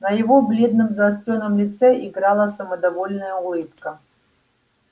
на его бледном заострённом лице играла самодовольная улыбка